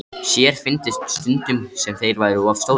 Sér fyndist stundum sem þeir væru of stórir.